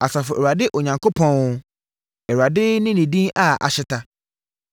Asafo Awurade Onyankopɔn, Awurade ne ne din a ahyeta!